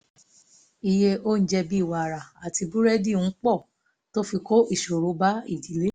iye oúnjẹ bíi wàrà àti búrẹdì ń pọ̀ tó fi kó ìṣòro bá ìdílé